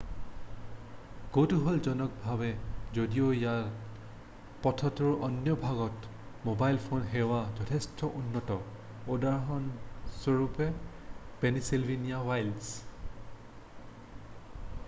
কৌতুহলজনকভাৱে যদিও ইয়াত পথটোৰ অন্য ভাগতকৈ ম'বাইল ফোন সেৱা যথেষ্ট উন্নত উদাহৰণস্বৰূপে পেনিছিলভেনিয়া ৱইল্ডছ